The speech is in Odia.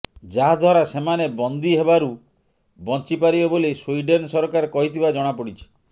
ଯାହାଦ୍ୱାରା ସେମାନେ ବନ୍ଦି ହେବାରୁ ବଞ୍ଚି ପାରିବେ ବୋଲି ସ୍ୱିଡ଼େନ୍ ସରକାର କହିଥିବା ଜଣା ପଡ଼ିଛି